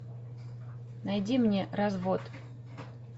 найди мне развод